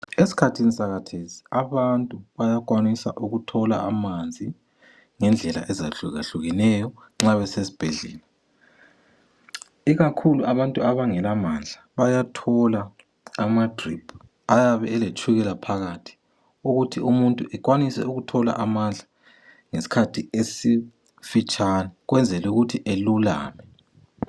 Eskhathini sakhathesi abantu bayakwanisa ukuthola amanzi ngendlela ezahlukahlukeneyo nxa besesibhedlela. Ikakhulu abantu abangelamandla bayathola amadrip ayabe eletshukela phakathi ukuthi umuntu ekwanise ukuthola amandla ngesikhathi esifitshane ukwenzelukuthi elulame.